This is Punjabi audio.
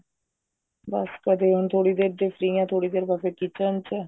ਬੱਸ ਕਦੇ ਹੁਣ ਥੋੜੀ ਦੇਰ ਜੇ free ਹਾਂ ਥੋੜੀ ਦੇਰ ਬਾਅਦ ਫ਼ੇਰ kitchen ਚ